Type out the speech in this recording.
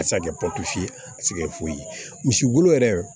A se ka kɛ ye a se kɛ foyi ye misi wolo yɛrɛ